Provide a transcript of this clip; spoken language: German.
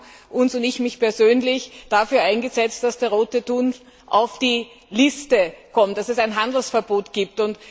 Wir haben uns und ich mich persönlich dafür eingesetzt, dass der Rote Thun auf die Liste kommt, dass es ein Handelsverbot gibt.